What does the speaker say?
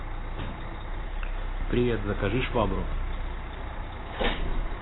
привет закажи швабру